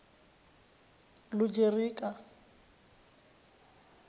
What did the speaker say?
lugerika